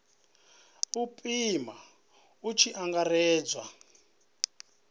u pima hu tshi angaredzwa